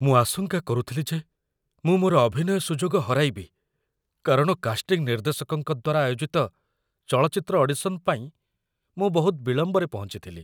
ମୁଁ ଆଶଙ୍କା କରୁଥିଲି ଯେ ମୁଁ ମୋର ଅଭିନୟ ସୁଯୋଗ ହରାଇବି, କାରଣ କାଷ୍ଟିଂ ନିର୍ଦ୍ଦେଶକଙ୍କ ଦ୍ୱାରା ଆୟୋଜିତ ଚଳଚ୍ଚିତ୍ର ଅଡିସନ୍ ପାଇଁ ମୁଁ ବହୁତ ବିଳମ୍ବରେ ପହଞ୍ଚିଥିଲି।